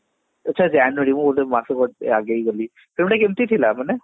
ଆଚ୍ଛା january ମୁଁ ଗୋଟେ ମାସ ଆଗେଇ ଗଲି ସେଗୁତା କେମତି ଥିଲା ମାନେ